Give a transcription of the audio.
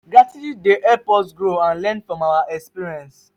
gratitude dey help us grow and learn from our experiences.